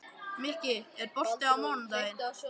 Mikki, er bolti á mánudaginn?